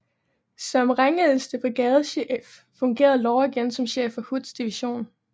Som rangældste brigadechef fungerede Law igen som chef for Hoods division